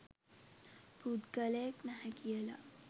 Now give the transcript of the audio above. පුද්ගලයෙක් නැහැ කියලා.